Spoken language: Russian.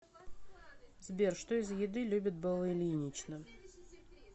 сбер что из еды любит белла ильинична